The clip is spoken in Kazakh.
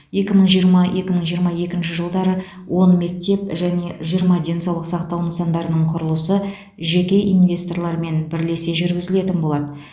екі мың жиырма екі мың жиырма екінші жылдары он мектеп және жиырма денсаулық сақтау нысандарының құрылысы жеке инвесторлармен бірлесе жүргізілетін болады